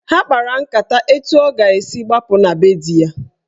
Ha kpara nkata etu ọ ga-esi gbapụ na be di ya.